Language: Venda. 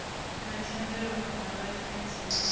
na thendelo kana laisentsi ya